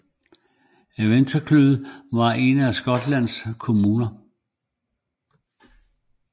Inverclyde er en af Skotlands kommuner